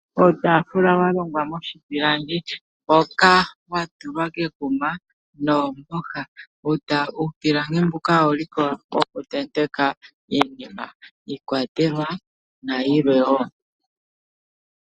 Uutafula wa longwa moshipilangi hoka wa tulwa kekuma noomboha. Uupilangi mbuka owuliko woku tenteka iinima, iikwatelwa nayilwe wo.